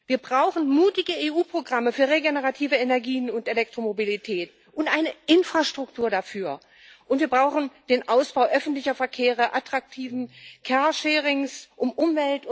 Wir brauchen mutige EU Programme für regenerative Energien und Elektromobilität und eine Infrastruktur dafür, und wir brauchen den Ausbau des öffentlichen Verkehrs, attraktiven carsharings um Umwelt und Mensch zu schonen.